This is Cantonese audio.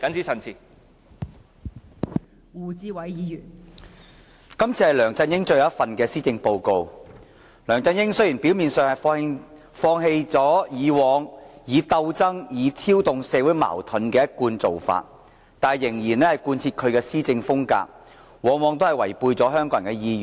這次是梁振英最後一份施政報告，雖然梁振英表面上放棄以往鬥爭和挑動社會矛盾的一貫做法，但卻仍然貫徹其施政風格，往往違背香港人的意願。